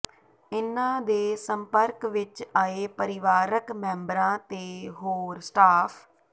ਇਨ੍ਹਾਂ ਦੇ ਸੰਪਰਕ ਵਿਚ ਆਏ ਪਰਿਵਾਰਕ ਮੈਂਬਰਾਂ ਤੇ ਹੋਰ ਸਟਾਫ